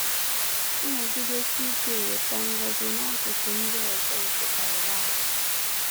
Nnọgidesi Ike Eweta Ngọzi n’Akụkụ Ndị Ọzọ nke Taiwan